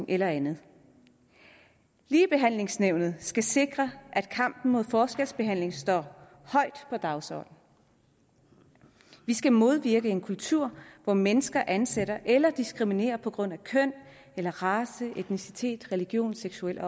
eller andet ligebehandlingsnævnet skal sikre at kampen mod forskelsbehandling står højt på dagsordenen vi skal modvirke en kultur hvor mennesker ansætter eller diskriminerer på grund af køn eller race etnicitet religion seksuel